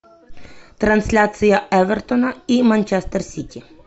трансляция эвертона и манчестер сити